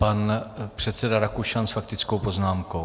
Pan předseda Rakušan s faktickou poznámkou.